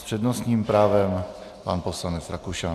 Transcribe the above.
S přednostním právem pan poslanec Rakušan.